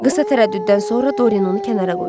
Qısa tərəddüddən sonra Doryan onu kənara qoydu.